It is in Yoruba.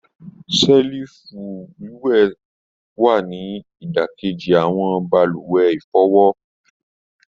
Selifu wíwẹtàbí ni idakeji awọn balùwẹ̀ ifọwọ.